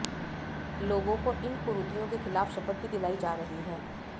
लोगों को इन कुरीतियों के खिलाफ शपथ भी दिलाई जा रही है